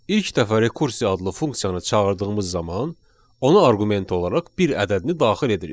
İlk dəfə rekursiya adlı funksiyanı çağırdığımız zaman, ona arqument olaraq bir ədədini daxil edirik.